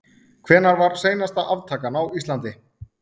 Hvenær var seinasta aftakan á Íslandi?